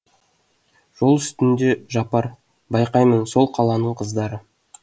жол үстінде жапар байқаймын сол қаланың қыздары